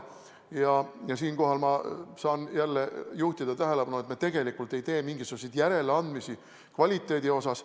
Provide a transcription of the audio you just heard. Siinkohal ma saan jälle juhtida tähelepanu, et me tegelikult ei tee mingisuguseid järeleandmisi kvaliteedi osas.